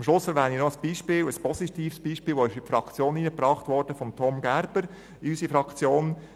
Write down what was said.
Zum Schluss habe ich noch ein positives Beispiel, das in unserer Fraktion von Grossrat Tom Gerber eingebracht wurde: